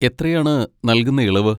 എത്രയാണ് നൽകുന്ന ഇളവ്?